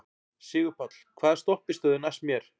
Sigurpáll, hvaða stoppistöð er næst mér?